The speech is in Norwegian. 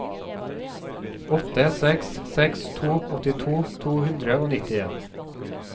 åtte seks seks to åttito to hundre og nittien